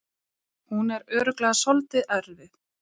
Hún er örugglega svolítið erfið.